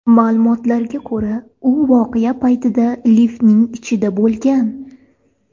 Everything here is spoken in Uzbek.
Ma’lumotlarga ko‘ra, u voqea paytida liftning ichida bo‘lgan.